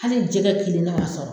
Hali jɛgɛ kelen ne m'a sɔrɔ